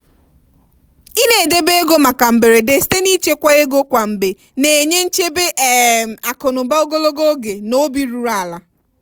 i na-edebe ego maka mberede site n'ịchekwa ego kwa mgbe na-enye nchebe um akụ na ụba gologo oge na obi ruru ala.